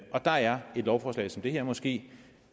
der er et lovforslag som det her måske